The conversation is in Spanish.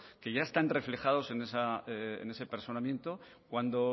que ya están reflejados en ese personamiento cuando